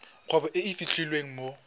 kgwebo e e fitlhelwang mo